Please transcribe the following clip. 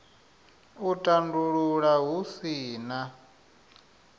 u tandulula hu si na